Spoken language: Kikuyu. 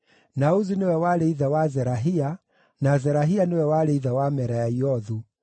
na Uzi nĩwe warĩ ithe wa Zerahia, na Zerahia nĩwe warĩ ithe wa Meraiothu,